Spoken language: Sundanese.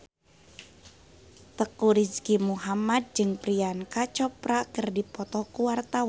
Teuku Rizky Muhammad jeung Priyanka Chopra keur dipoto ku wartawan